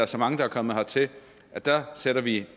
så mange er kommet hertil der sætter vi